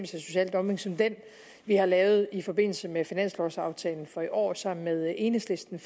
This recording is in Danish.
social dumping som den vi har lavet i forbindelse med finanslovaftalen for i år sammen med enhedslisten